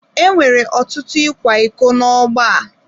E nwere ọtụtụ ịkwa iko n’ọgbọ a.